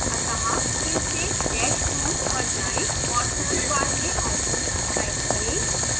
अतः फिर से dash home पर जाएं और search bar में office type करें